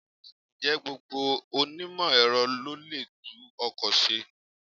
Ǹjẹ́ gbogbo onímọ̀-Ẹ̀rọ ló lè tún ọkọ̀ ṣe?